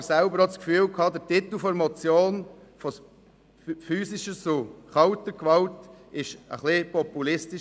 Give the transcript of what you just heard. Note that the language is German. Ich hatte aber selber auch den Eindruck, der Titel der Motion «von physischer zu kalter Gewalt» war ein wenig zu populistisch.